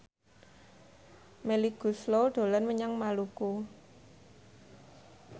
Melly Goeslaw dolan menyang Maluku